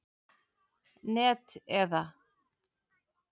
net eða.